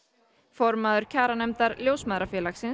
formaður kjaranefndar Ljósmæðrafélagsins